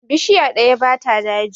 Bishiya ɗaya ba ta daji.